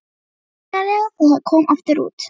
Létti ósegjanlega þegar hann kom aftur út.